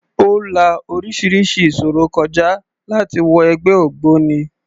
Ó la orísirísi ìṣòro kọ já láti wọ ẹgbẹ́ ògbóni.